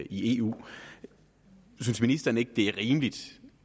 i eu synes ministeren ikke det er rimeligt